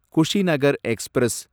Kushinagar express